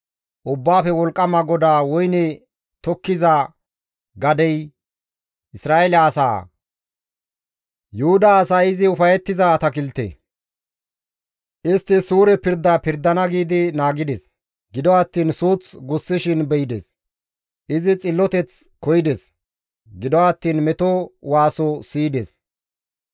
Ubbaafe Wolqqama GODAA woyne tokkiza gadey Isra7eele asaa. Yuhuda asay izi ufayettiza atakilte. Istti suure pirda pirdana giidi naagides; gido attiin suuth gussishin be7ides. Izi xilloteth koyides; gido attiin meto waaso siyides.